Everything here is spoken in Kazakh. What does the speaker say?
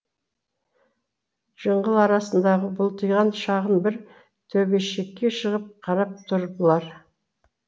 жыңғыл арасындағы бұлтиған шағын бір төбешікке шығып қарап тұр бұлар